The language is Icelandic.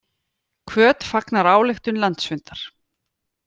Hvöt fagnar ályktun landsfundar